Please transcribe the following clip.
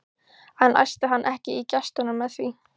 En æsti hann ekki í gestunum með því?